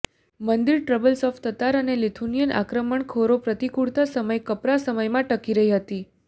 મંદિર troubles of Tatar અને Lithuanian આક્રમણખોરો પ્રતિકૂળતા સમય કપરા સમયમાં ટકી રહી હતી